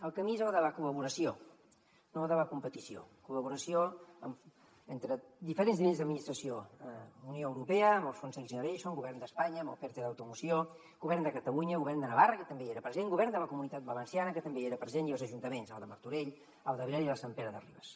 el camí és el de la col·laboració no el de la competició col·laboració entre diferents nivells d’administració unió europea amb el fons next generation el govern d’espanya amb el perte d’automoció govern de catalunya govern de navarra que també hi era present govern de la comunitat valenciana que també hi era present i els ajuntaments el de martorell el d’abrera i el de sant pere de ribes